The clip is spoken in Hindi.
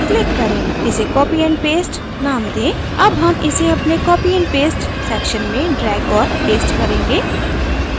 इसे copy and paste name दें अब name इसे अपने copy and paste section में drag और paste करेंगे